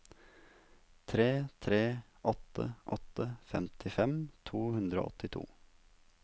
tre tre åtte åtte femtifem to hundre og åttito